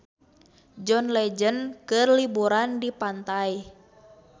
John Legend keur liburan di pantai